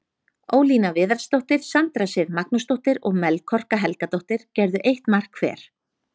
Ólína Viðarsdóttir, Sandra Sif Magnúsdóttir og Melkorka Helgadóttir gerðu eitt mark hver.